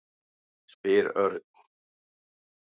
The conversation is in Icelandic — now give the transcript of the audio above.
spyr Örn.